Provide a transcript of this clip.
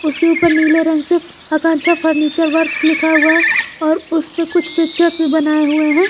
उसके ऊपर नीले रंग से आकांक्षा फर्नीचर वर्क लिखा हुआ है और उसपे कुछ पिक्चर्स भी बनाये हुए हैं।